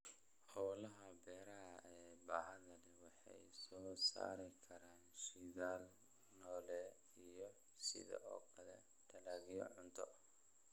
Hawlaha beeraha ee baaxadda leh waxay soo saari karaan shidaal noole iyo sidoo kale dalagyo cunto.